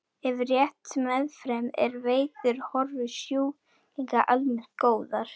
Ef rétt meðferð er veitt eru horfur sjúklinga almennt góðar.